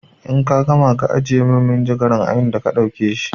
In ka gama ka ajiye min manjagara a inda ka ɗauke shi!